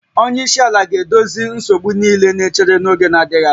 Onye isi ala ga-edozi nsogbu niile na-echere n'oge adịghị anya